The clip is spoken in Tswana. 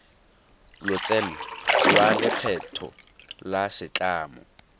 lotseno lwa lekgetho la setlamo